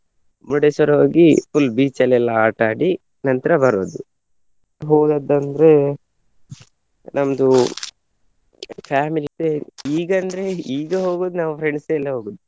ಮುರುಡೇಶ್ವರ ಹೋಗಿ full beach ಅಲ್ಲೆಲ್ಲ ಆಟ ಆಡಿ ನಂತ್ರ ಬರುವುದು . ಹೋದದ್ದ್ ಅಂದ್ರೆ ನಮ್ದು family ಇದೆ ಈಗ ಅಂದ್ರೆ ಈಗ ಹೋಗುವುದು ನಾವು friends ಎಲ್ಲ ಹೋಗುದು